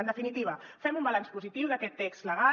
en definitiva fem un balanç positiu d’aquest text legal